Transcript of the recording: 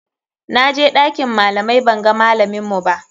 Na je ɗakin malamai banga malaminmu ba.